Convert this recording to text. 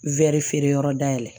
Wɛri feere yɔrɔ dayɛlɛ